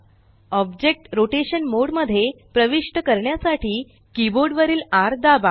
object rotation mode मध्ये प्रविष्ट करण्यासाठी कीबोर्ड वरील र दाबा